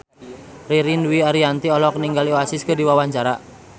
Ririn Dwi Ariyanti olohok ningali Oasis keur diwawancara